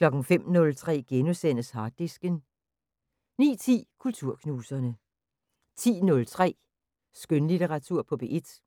05:03: Harddisken * 09:10: Kulturknuserne 10:03: Skønlitteratur på P1